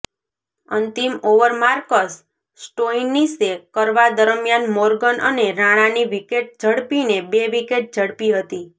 અંતિમ over Marcus સ્ટોઇનીશે કરવા દરમ્યાન મોર્ગન અને રાણાની વિકેટ ઝડપીને બે વિકેટ ઝડપી હતી